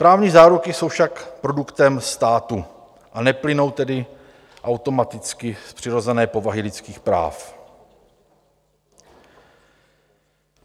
Právní záruky jsou však produktem státu, a neplynou tedy automaticky z přirozené povahy lidských práv.